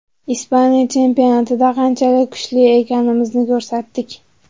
Ispaniya chempionatida qanchalik kuchli ekanimizni ko‘rsatdik.